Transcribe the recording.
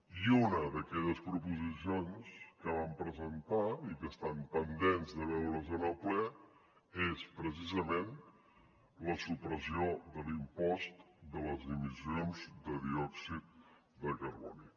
i una d’aquelles proposicions que vam presentar i que estan pendents de veure’s en el ple és precisament la supressió de l’impost de les emissions de diòxid de carboni